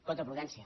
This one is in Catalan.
coto prudència